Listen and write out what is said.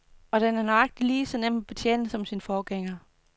Og den er nøjagtig lige så nem at betjene som sin forgænger.